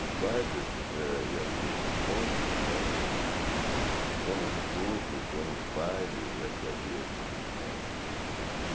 Os bailes eh e a e os encontros eram... Ou nos clubes ou nos bailes é que havia esses encontros.